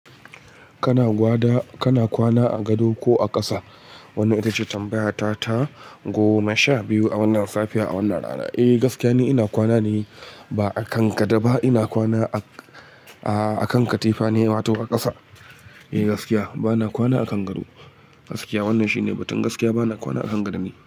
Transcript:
Kana kwana a gado ko a ƙasa? Wannan ita ce tambayata ta goma sha biyu a wannan safiya, a wannan rana. Eh, gaskiya ne, ina kwana ne, ba a kan gado ba. Ina kwana a kan katifa ne wato a ƙasa. Eh, gaskiya. Bana kwana a kan gado. Gaskiya. Wannan shine batun. Gaskiya bana kwana a kan gado ne.